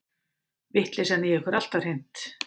Vitleysan í ykkur alltaf hreint.